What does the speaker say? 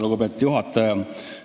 Lugupeetud juhataja!